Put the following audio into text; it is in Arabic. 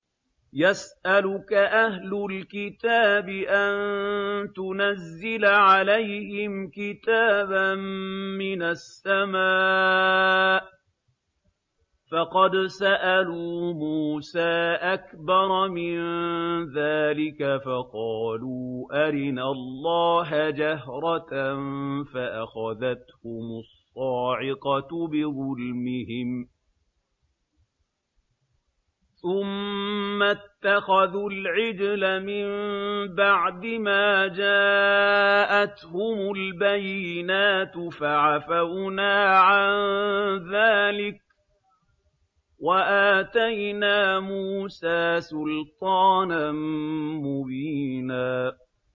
يَسْأَلُكَ أَهْلُ الْكِتَابِ أَن تُنَزِّلَ عَلَيْهِمْ كِتَابًا مِّنَ السَّمَاءِ ۚ فَقَدْ سَأَلُوا مُوسَىٰ أَكْبَرَ مِن ذَٰلِكَ فَقَالُوا أَرِنَا اللَّهَ جَهْرَةً فَأَخَذَتْهُمُ الصَّاعِقَةُ بِظُلْمِهِمْ ۚ ثُمَّ اتَّخَذُوا الْعِجْلَ مِن بَعْدِ مَا جَاءَتْهُمُ الْبَيِّنَاتُ فَعَفَوْنَا عَن ذَٰلِكَ ۚ وَآتَيْنَا مُوسَىٰ سُلْطَانًا مُّبِينًا